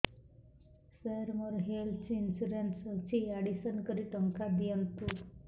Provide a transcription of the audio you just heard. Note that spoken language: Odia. ସାର ମୋର ହେଲ୍ଥ ଇନ୍ସୁରେନ୍ସ ଅଛି ଆଡ୍ମିଶନ କରି ଟଙ୍କା ଦିଅନ୍ତୁ